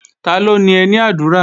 Taló ni ẹní àdúrà?